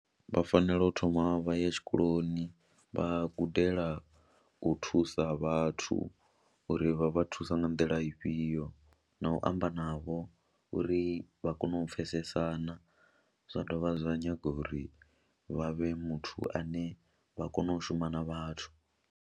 Vha fanela u thoma vha ya tshikoloni vha gudela u thusa vhathu uri vha vha thusa nga nḓila ifhio na u amba navho uri vha kone u pfhesesana, zwa dovha zwa nyaga uri vha vhe muthu ane vha kone u shuma na vhathu.